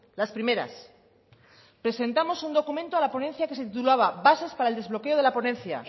las primeras presentamos un documento a la ponencia que se titulaba bases para el desbloqueo de la ponencia